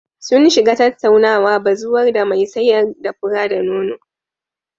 Sun shiga tattaunawa bazuwar da mai sayar da fura-da-nono.